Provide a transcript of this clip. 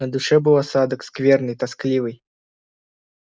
на душе был осадок скверный тоскливый